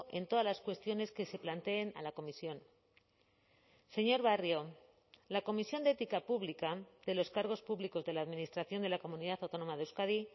en todas las cuestiones que se planteen a la comisión señor barrio la comisión de ética pública de los cargos públicos de la administración de la comunidad autónoma de euskadi